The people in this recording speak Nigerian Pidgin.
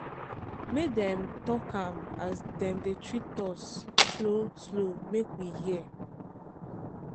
make dem talk am as dem dey treat us slow-slow make we hear.